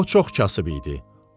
O çox kasıb idi.